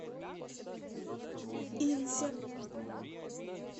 инзе